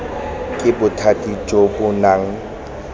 ke bothati jo bo nang